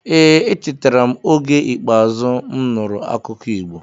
Ee, echetara m oge ikpeazu m nụrụ akụkọ Igbo.